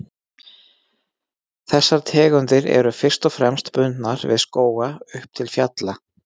Þessar tegundir eru fyrst og fremst bundnar við skóga upp til fjalla.